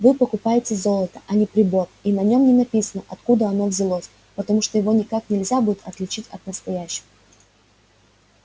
вы покупаете золото а не прибор и на нем не написано откуда оно взялось потому что его никак нельзя будет отличить от настоящего